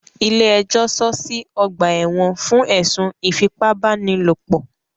Ilé ẹjọ́ sọọ́ sí ọ̀gbà ẹ̀wọ̀n fún ẹ̀sùn ìfipábánilòpò.